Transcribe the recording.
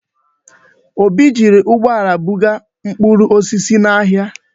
Obi jiri ụgbọala buga mkpụrụ osisi ya n'ahịa.